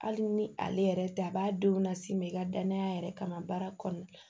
Hali ni ale yɛrɛ tɛ a b'a denw las'i ma i ka danaya yɛrɛ kama baara kɔnɔna la